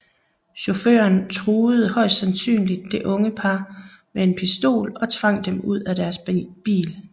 Chaufføren truede højst sandsynligt det unge par med en pistol og tvang dem ud af deres bil